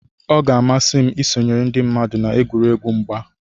ọ ga-amasị m isonyere ndị mmadụ na egwuregwu mgba